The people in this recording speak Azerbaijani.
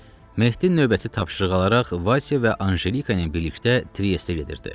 Mehdi növbəti tapşırıq alaraq Vasya və Anjelika ilə birlikdə Triestə gedirdi.